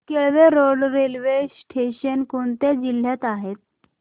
Kelve road railway station कोणत्या जिल्ह्यात आहे